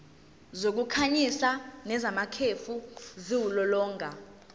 zokukhanyisa nezamakhefu ziwulolonga